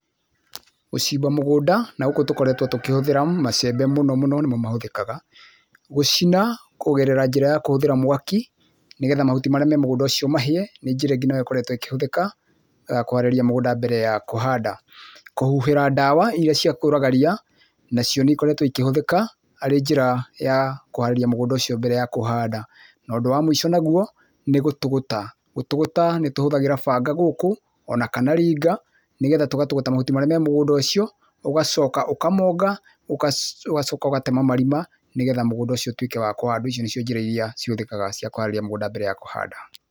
Gũcimba mũgũnda, na gũkũ tũkoretwo tũkĩhũthĩra macembe mũno mũno nĩmo mahũthĩkaga. Gũcina, kũgerera njĩra ya kũhũthĩra mwaki, nĩgetha mahuti marĩa me mũgũnda ũcio mahĩe, nĩ njĩra ĩngĩ nayo ĩkoretwo ĩkĩhũthĩka, kũharĩria mũgũnda mbere ya kũhanda. Kũhuhĩra dawa iria cia kũraga ria, nacio nĩ ĩkoretwo ikĩhũthĩka arĩ njĩra ya kũharĩria mũgũnda ũcio mbere ya kũhanda. Na ũndũ wa mũico naguo, nĩ gũtũgũta. Gũtũgũta, nĩ tũhũthagĩra banga gũkũ, o na kana ringa, nĩgetha tũgatũgũta mahuti marĩa me mũgũnda ũcio, ũgacoka ũkamonga, ũgacoka ũgatema marima, nĩgetha mũgũnda ũcio ũtuĩke wa kũhandwo. Icio nĩcio njĩra iria ihũthĩkaga kũharĩria mũgũnda mbere ya kũhanda